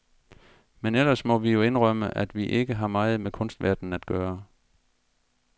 Men ellers må vi jo indrømme, at vi ikke har meget med kunstverdenen at gøre.